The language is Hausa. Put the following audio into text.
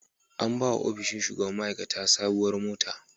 An ba wa ofishin shugaban ma'aikata sabuwar mota.